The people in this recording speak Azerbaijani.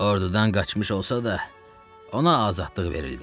Ordudan qaçmış olsa da, ona azadlıq verildi.